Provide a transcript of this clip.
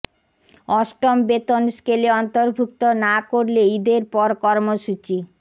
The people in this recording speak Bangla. অষ্টম বেতন স্কেলে অন্তর্ভুক্ত না করলে ঈদের পর কর্মসূচি